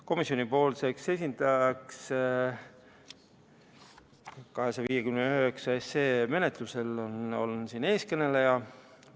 Komisjoni esindajaks 259 menetlusel on teie ees kõneleja.